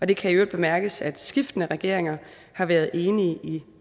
det kan i øvrigt bemærkes at skiftende regeringer har været enige i